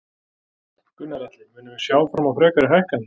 Gunnar Atli: Munum við sjá fram á frekari hækkanir?